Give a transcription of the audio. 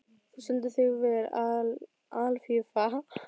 Þú stendur þig vel, Alfífa!